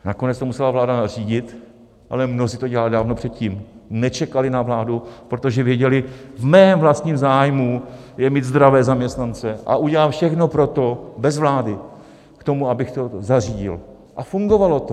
Nakonec to musela vláda nařídit, ale mnozí to dělali dávno předtím, nečekali na vládu, protože věděli: V mém vlastním zájmu je mít zdravé zaměstnance a udělám všechno pro to bez vlády k tomu, abych to zařídil, a fungovalo to.